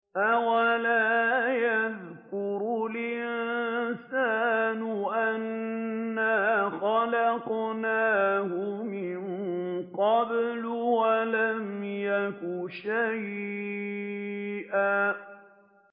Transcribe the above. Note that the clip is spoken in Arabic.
أَوَلَا يَذْكُرُ الْإِنسَانُ أَنَّا خَلَقْنَاهُ مِن قَبْلُ وَلَمْ يَكُ شَيْئًا